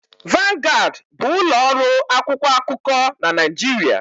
Vanguard bụ ụlọ ọrụ akwụkwọ akụkọ na Naịjirịa.